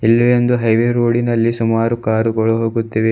ಇಲ್ಲಿ ಎಂದು highway road ಇನಲ್ಲಿ ಸುಮಾರು ಕಾರು ಗಳು ಹೋಗುತ್ತಿವೆ.